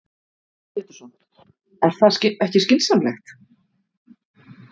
Heimir Már Pétursson: Er það ekki skynsamlegt?